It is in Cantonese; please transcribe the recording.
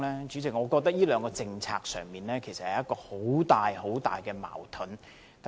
主席，我覺得這兩項政策其實自相矛盾。